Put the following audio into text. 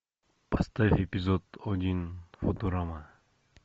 поставь эпизод один футурама